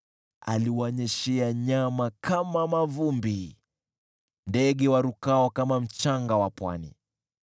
Aliwanyeshea nyama kama mavumbi, ndege warukao kama mchanga wa pwani.